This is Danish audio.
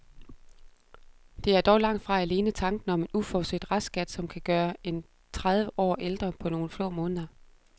Det er dog langt fra alene tanken om en uforudset restskat, som kan gøre en tredive år ældre på nogle få måneder.